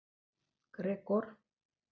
Gregor